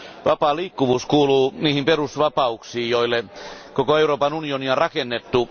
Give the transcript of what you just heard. Vapaa liikkuvuus kuuluu niihin perusvapauksiin, joille koko Euroopan unioni on rakennettu.